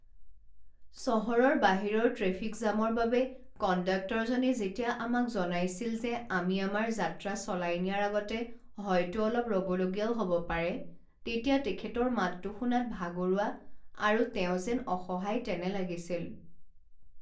চহৰৰ বাহিৰৰ ট্ৰেফিক জামৰ বাবে কণ্ডাক্টৰজনে যেতিয়া আমাক জনাইছিল যে আমি আমাৰ যাত্ৰা চলাই নিয়াৰ আগতে হয়তো অলপ ৰ'বলগীয়াও হ'ব পাৰে তেতিয়া তেখেতৰ মাতটো শুনাত ভাগৰুৱা আৰু তেওঁ যেন অসহায় তেনে লাগিছিল।